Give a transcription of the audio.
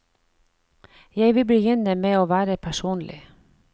Jeg vil begynne med å være personlig.